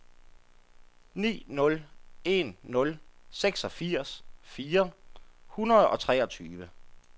ni nul en nul seksogfirs fire hundrede og treogtyve